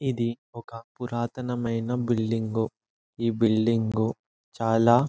ఇది ఒక పురాతనమైన బిల్డింగు . ఈ బిల్డింగు చాలా --